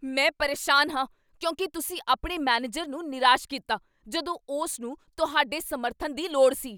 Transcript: ਮੈਂ ਪਰੇਸ਼ਾਨ ਹਾਂ ਕਿਉਂਕਿ ਤੁਸੀਂ ਆਪਣੇ ਮੈਨੇਜਰ ਨੂੰ ਨਿਰਾਸ਼ ਕੀਤਾ ਜਦੋਂ ਉਸ ਨੂੰ ਤੁਹਾਡੇ ਸਮਰਥਨ ਦੀ ਲੋੜ ਸੀ।